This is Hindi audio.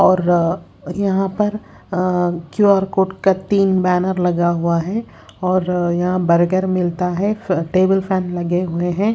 और यहां पर अं क्यू_आर कोड का तीन बैनर लगा हुआ है और यहां बर्गर मिलता है टेबल फैन लगे हुए हैं।